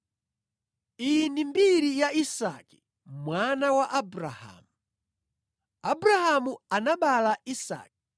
Iyi ndi mbiri ya Isake mwana wa Abrahamu. Abrahamu anabereka Isake